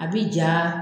A bi ja